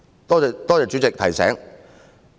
多謝主席提醒。